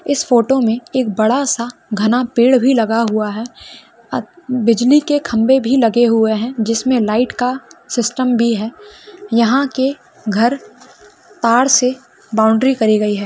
इस फोटो में एक बड़ा सा घना पेड़ भी लगा हुआ है आ-बिजली के खम्भे भी लगे हुए हैं जिस में लाईट का सिस्टम भी है यहाँ के घर पार से बॉउंड्री करी गई है।